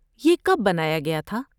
یہ کب بنایا گیا تھا؟